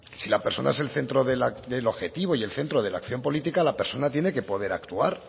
si la persona es el centro del objetivo y el centro de la acción política la personas tiene que poder actuar